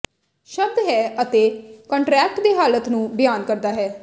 ਸ਼ਬਦ ਹੈ ਅਤੇ ਕੰਟਰੈਕਟ ਦੇ ਹਾਲਾਤ ਨੂੰ ਬਿਆਨ ਕਰਦਾ ਹੈ